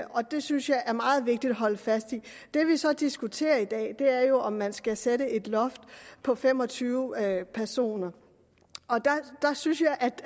og det synes jeg er meget vigtigt at holde fast i det vi så diskuterer i dag er jo om man skal sætte et loft på fem og tyve personer der synes jeg